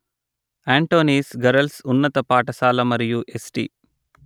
Antony's girls ఉన్నత పాఠశాల మరియు ఎస్టి